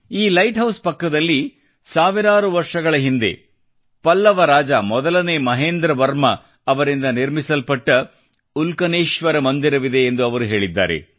ಈ lighthouse ಪಕ್ಕದಲ್ಲಿ ಸಾವಿರಾರು ವರ್ಷಗಳ ಹಿಂದೆ ಪಲ್ಲವರಾಜ ಮೊದಲನೇ ಮಹೇಂದ್ರ ವರ್ಮನ್ ಅವರಿಂದ ನಿರ್ಮಿಸಲ್ಪಟ್ಟ ಉಲ್ಕನೇಶ್ವರ ಮಂದಿರವಿದೆ ಎಂದು ಅವರು ಹೇಳಿದ್ದಾರೆ